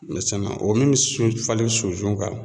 o min bɛ sunnfalen sunsun kan